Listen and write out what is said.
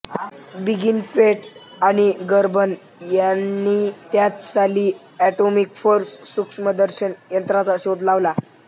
Binnig Quate आणि Gerber यांनी त्याच साली एटोमिक फोर्स सूक्ष्मदर्शक यंत्राचा देखील शोध लावला